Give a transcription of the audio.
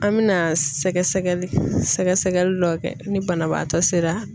An mɛna sɛgɛsɛgɛli sɛgɛsɛgɛli dɔw kɛ ni banabaatɔ sera